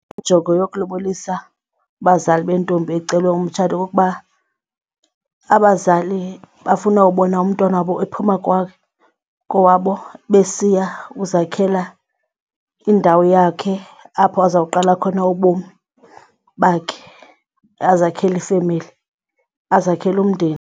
Injongo yokulobolisa kubazali bentombi ecelwe umtshato kukuba abazali bafuna ukubona umntwana wabo ephuma kowabo besiya kuzakhela indawo yakhe apho azoqala khona ubomi bakhe, azakhele ifemeli azakhele umndeni.